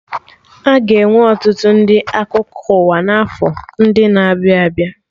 Aga enwe ọtụtụ ndị akụkọ ụwa na afọ ndị na-abịa abịa